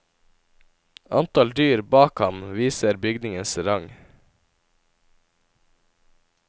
Antall dyr bak ham viser bygningens rang.